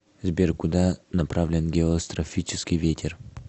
сбер куда направлен геострофический ветер